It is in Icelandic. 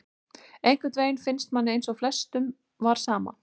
Einhvern veginn finnst manni eins og flestum var sama,